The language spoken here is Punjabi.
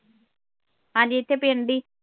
ਹਾਂ ਜੀ ਇੱਥੇ ਪਿੰਡ ਹੀ।